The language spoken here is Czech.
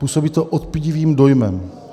Působí to odpudivým dojmem.